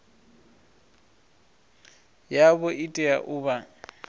yavho i tea u vha